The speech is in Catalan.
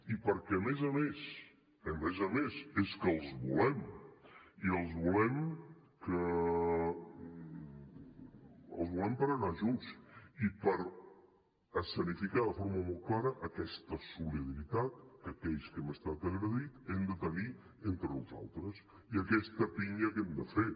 i perquè a més a més a més a més és que els volem i els volem per anar junts i per escenificar de forma molt clara aquesta solidaritat que aquells que hem estat agredits hem de tenir entre nosaltres i aquesta pinya que hem de fer